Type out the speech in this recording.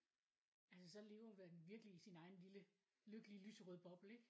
Altså så lever man virkelig i sin egen lille lyserøde bobbel ikke?